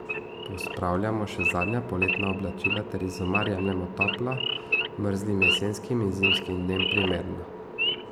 Pospravljamo še zadnja poletna oblačila ter iz omar jemljemo topla, mrzlim jesenskim in zimskim dnem primerna.